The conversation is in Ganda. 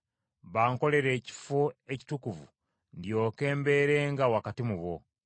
“Bankolere ekifo ekitukuvu ndyoke mbeerenga wakati mu bo.